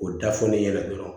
O da fɔlen ɲɛna dɔrɔn